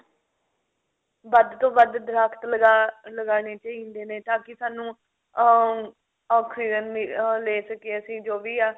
ਵੱਧ ਤੋਂ ਵੱਧ ਦਰਖਤ ਲਗਾਉਣੇ ਚਾਹੀਦੇ ਨੇ ਤਾਂਕਿ ਸਾਨੂੰ ah oxygen ah ਲੈ ਸਕੀਏ ਜੋ ਵੀ ਆ